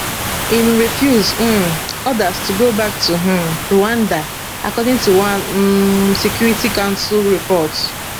im refuse um orders to go back to um rwanda according to one un security council report